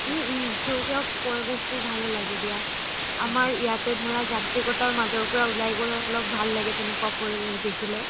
উম উম সেউজীয়া পৰিৱেশ বোৰ ভালে লাগে দিয়া আমাৰ ইয়াতে ধৰা যান্ত্ৰিকতা মাজৰ পৰা উলাই গৈ অলপ ভাল লাগে তেনেকোৱা পৰিৱেশ দেখিলে